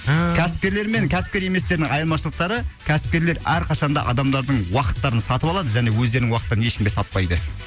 ааа кәсіпкерлер мен кәсіпкер еместердің айырмашылықтары кәсіпкерлер әрқашанда адамдардың уақыттарын сатып алады және өздерінің уақыттарын ешкімге сатпайды